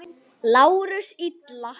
LÁRUS: Illa!